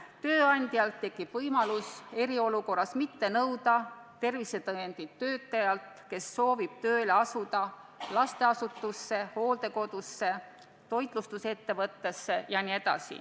Tööandjal tekib võimalus eriolukorras mitte nõuda tervisetõendit töötajalt, kes soovib tööle asuda lasteasutuses, hooldekodus, toitlustusettevõttes.